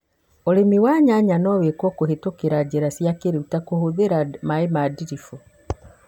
ũrĩmi wa nyanya no wĩkwo kũhũthĩra njĩra cĩa kĩ rĩu ta gũitĩrĩria maaĩ na ndiribu